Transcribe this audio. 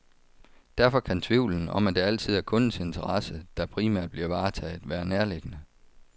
Derfor kan tvivlen, om at det altid er kundens interesse, der primært bliver varetaget, være nærliggende.